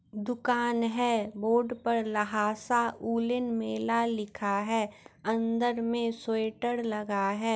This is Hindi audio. दुकान है बोर्ड पे लहासा वोलेन मेला लिखा है अंदर में स्वेटर लगा है।